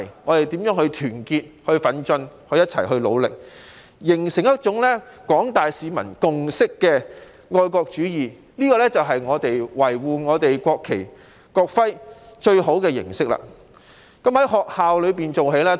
我們要團結、奮進、一起努力，形成一種具有廣大市民共識的愛國主義，這才是維護國旗和國徽的最好方式，而以上種種當然必須從學校做起。